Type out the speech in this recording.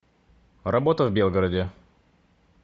работа в белгороде